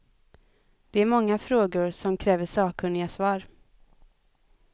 Det är många frågor, som kräver sakkunniga svar.